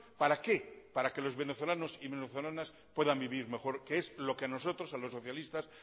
para qué para que los venezolanos y venezolanas puedan vivir mejor que es lo que a nosotros a los socialistas